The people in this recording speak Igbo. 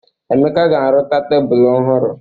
Emeka ga-arụta tebulu ọhụrụ.